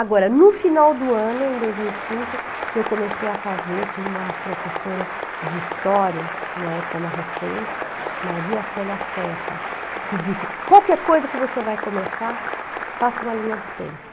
Agora, no final do ano, em dois mil e cinco, eu comecei a fazer, tive uma professora de história, em uma época mais recente, Maria Célia Serra, que disse, qualquer coisa que você vai começar, faça uma linha do tempo.